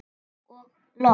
Og loks.